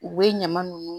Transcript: U bɛ ɲama nunnu